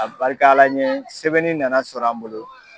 A barika Ala ɲe sɛbɛnni nana sɔrɔ an bolo.